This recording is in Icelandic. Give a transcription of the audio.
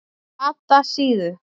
Flatasíðu